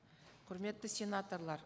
құрметті сенаторлар